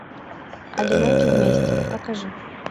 одиноки вместе покажи